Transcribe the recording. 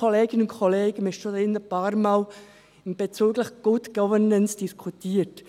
Kolleginnen und Kollegen, wir haben hier schon ein paarmal über Good Governance diskutiert.